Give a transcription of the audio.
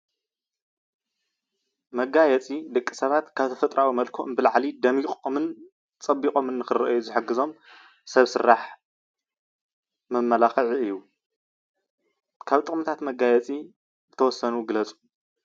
መጋየፂ ደቂ ሰባት ካብ ተፈጥራዊ መልክዖም ብላዕሊ ደምቖምን ፀብቖም ንክራኣዩ ዝሕግዞም ሰብ ስራሕ መመላኽዒ እዩ። ካብ ጥቕምታት መጋየፂ ዝተወሰኑ ግለፁ?